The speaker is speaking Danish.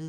02:03: